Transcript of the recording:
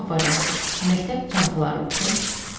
A variantı: məktəb çantaları üçün,